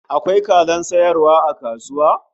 Akwai kazan sayarwa a kasuwa?